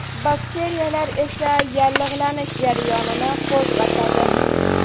Bakteriyalar esa yallig‘lanish jarayonini qo‘zg‘atadi.